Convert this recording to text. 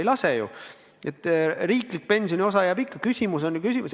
Ei lase ju, riiklik pensioniosa jääb ikka.